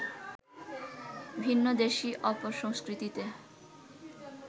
ভিন্নদেশী অপসংস্কৃতিতে